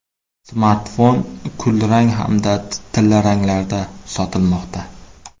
Smartfon kulrang hamda tillaranglarda sotilmoqda.